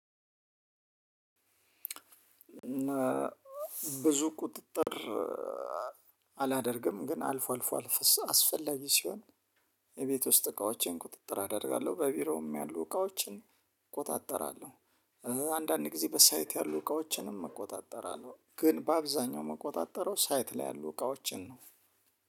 ብዙ ቁጥጥር አላደርግም ግን አልፎ አልፎ አስፈላጊ ሲሆን። የቤት ውስጥ እቃዎችን ቁጥጥር አደርጋለሁ በቢሮም ያሉ እቃዎችን እቆጣጠራለሁ። አንዳንዴ ጊዜ በሳይት ያሉ እቃዎችንም እቆጣጠራለሁ ግን በአብዛኛው የምቆጣጠረው ሳይት ላይ ያሉ እቃዎችን ነው።